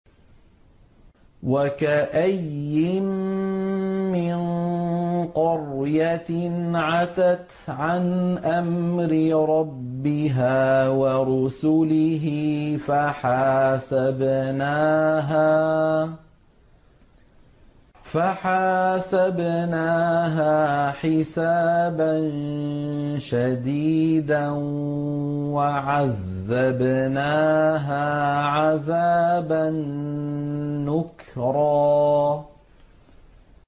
وَكَأَيِّن مِّن قَرْيَةٍ عَتَتْ عَنْ أَمْرِ رَبِّهَا وَرُسُلِهِ فَحَاسَبْنَاهَا حِسَابًا شَدِيدًا وَعَذَّبْنَاهَا عَذَابًا نُّكْرًا